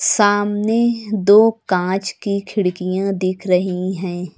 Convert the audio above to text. सामने दो कांच की खिड़कियां दिख रही हैं।